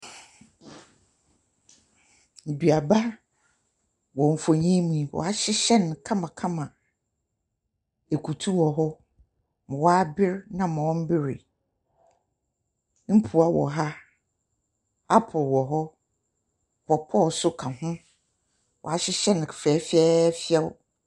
Nnuaba wɔ mfonin yi mu yi, wɔahyehyɛ no kamakama. Akutu wɔ hɔ. Ma wabere ne ma ɔmberee. Mporɔ wɔ ha. Apple wɔ hɔ, pawpaw nso ka ho. Wɔahyehye no fɛfɛɛfɛw.